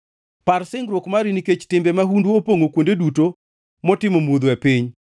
Par singruok mari nikech timbe mahundu opongʼo kuonde duto motimo mudho e piny.